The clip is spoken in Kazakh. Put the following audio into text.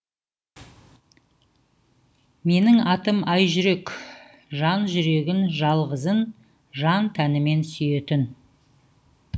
менің атым айжүрек жан жүрегін жалғызын жан тәнімен сүйетін